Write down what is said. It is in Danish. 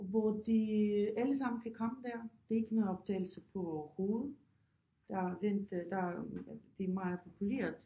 Hvor de alle sammen kan komme der det ikke noget optagelse på hovedet der den det der det er meget populært